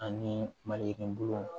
Ani maliyirini bulu